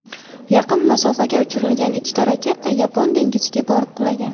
Yaqin masofaga uchirilgan ikkita raketa Yapon dengiziga borib qulagan.